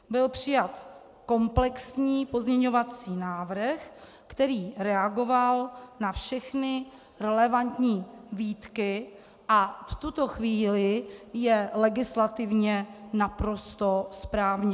Byl přijat komplexní pozměňovací návrh, který reagoval na všechny relevantní výtky a v tuto chvíli je legislativně naprosto správně.